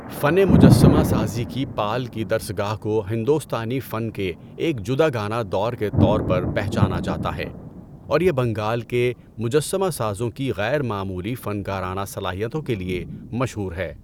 فنِ مجسمہ سازی کی پال کی درسگاہ کو ہندوستانی فن کے ایک جداگانہ دور کے طور پر پہچانا جاتا ہے اور یہ بنگال کے مجسمہ سازوں کی غیر معمولی فنکارانہ صلاحیتوں کے لیے مشہور ہے۔